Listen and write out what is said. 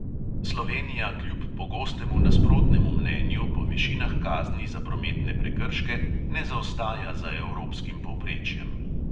Slovenija kljub pogostemu nasprotnemu mnenju po višinah kazni za prometne prekrške ne zaostaja za evropskim povprečjem.